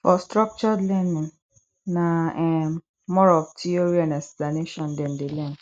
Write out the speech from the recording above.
for structured learning na um more of theory and explanation dem de learn